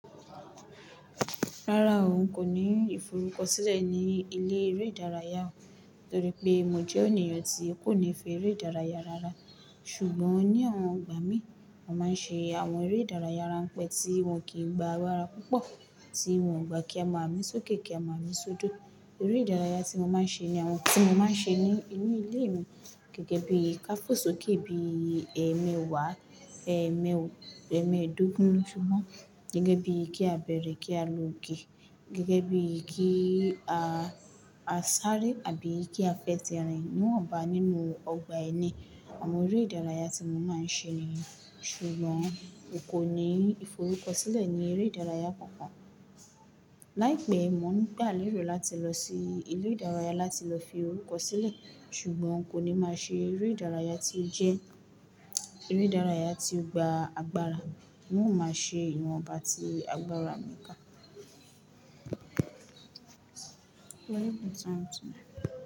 Rárá, n kò ní ìforúkọ sílẹ̀ ní ilé eré ìdárayá, torí pé mò jẹ́ ènìyàn tí kò nífẹ̀ẹ́ eré ìdárayá rárá. Ṣùgbọ́n ní awon igbà mí, mò máa ń ṣe àwọn eré ìdárayá ránpẹ́ tí wọ́n kì í gba agbára púpọ̀, tí wọ́n ò bá kí a máa mí sókè kí a máa mí sódò. Eré ìdárayá tí mò máa ń ṣe ní àwọn tí mò máa ń ṣe ní inú ilé mi, gẹ́gẹ́ bí ká fò sókè bí èmewà, èmi, èmeedógún. Ṣùgbọ́n gẹ́gẹ́ bí kí a bẹ̀rẹ̀ kí a lòke, gẹ́gẹ́ bí kí a, a sáré àbí kí a fẹ́ sẹrin. Níwọ̀n bá nínú ọgbà ẹni, àwọn eré ìdárayá tí mò máa ń ṣe nìyẹn. Ṣùgbọ́n n kò ní ìforúkọ sílẹ̀ ní eré ìdárayá kankan. Láìpẹ́, mò ń gbàlé rò láti lọ sí ilé ìdárayá láti lọ fi orúkọ sílẹ̀, ṣùgbọ́n kò ní máa ṣe eré ìdárayá tí ó jẹ́ eré ìdárayá tí ó gba agbára. N ọ̀ máa ṣe ìwọ̀nba tí agbára mi ka.